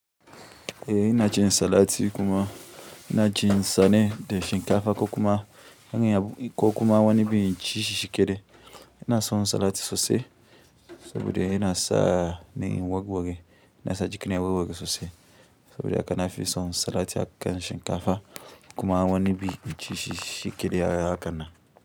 Eh ina cin salati kuma ina cin sane da shinkafa ko kuma an yi ko kuma wani biyu yanci shishi yake da yana son salati sosai saboda yana sa ni warware, yana sa jikina warware sosai saboda haka na fi son salati da shinkafa kuma wani bi inci shi shi kaɗai haka na.